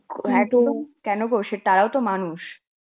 কেন কসে~ তারাও তো মানুষ.